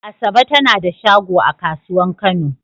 Asabe ta na da shago a kasuwan kano.